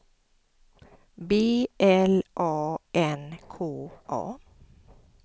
B L A N K A